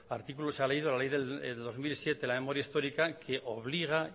artículo se ha leído la ley del dos mil siete de memoria histórica que obliga